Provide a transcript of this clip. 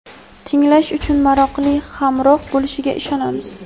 Tinglash uchun maroqli hamroh bo‘lishiga ishonamiz.